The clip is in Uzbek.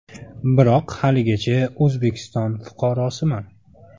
Biroq haligacha O‘zbekiston fuqarosiman.